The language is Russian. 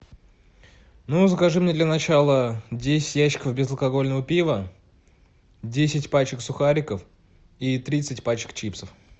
ну закажи мне для начала десять ящиков безалкогольного пива десять пачек сухариков и тридцать пачек чипсов